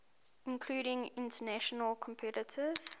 including international competitors